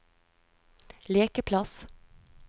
lekeplass